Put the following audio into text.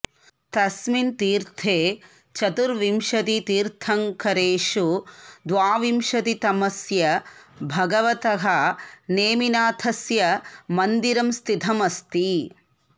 तस्मिन् तीर्थे चतुर्विंशतितीर्थङ्करेषु द्वाविंशतितमस्य भगवतः नेमिनाथस्य मन्दिरं स्थितमस्ति